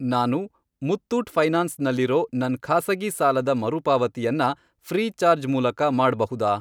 ನಾನು ಮುತ್ತೂಟ್ ಫೈನಾನ್ಸ್ ನಲ್ಲಿರೋ ನನ್ ಖಾಸಗಿ ಸಾಲದ ಮರುಪಾವತಿಯನ್ನ ಫ್ರೀಚಾರ್ಜ್ ಮೂಲಕ ಮಾಡ್ಬಹುದಾ?